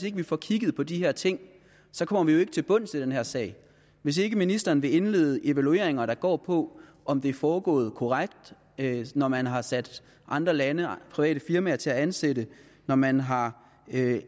ikke får kigget på de her ting så kommer vi jo ikke til bunds i den her sag hvis ikke ministeren vil indlede evalueringer der går på om det er foregået korrekt når man har sat andre lande og private firmaer til at ansætte når man har